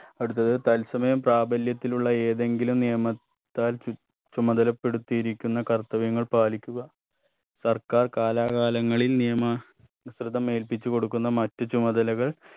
അടുത്തത് തത്സമയം പ്രാബല്യത്തിലുള്ള ഏതെങ്കിലും നിയമ ത്താൽ ചു ചുമതലപ്പെടുത്തിയിരിക്കുന്നു കർത്തവ്യങ്ങൾ പാലിക്കുക സർക്കാർ കാലാകാലങ്ങളിൽ നിയമ സ്ത്രിതമേൽപ്പിച്ചു കൊടുക്കുന്ന മറ്റു ചുമതലകൾ